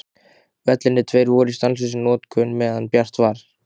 Vellirnir tveir voru í stanslausri notkun meðan bjart var.